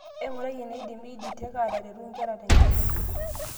Eng'urai eneidim EdTech ataretu nkera tenkisuma.